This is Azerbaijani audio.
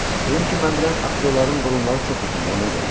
Dedim ki, mən bilən aktyorların burunları çox uzundur, ona görə.